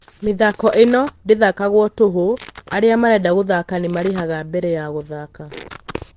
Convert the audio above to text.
Mĩthako ĩno ndĩthakagwo tũhũ, arĩa marenda gũthaka nĩmarĩhaga mbere ya gũthaka.